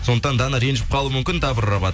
сондықтан дана ренжіп қалуы мүмкін дабрабат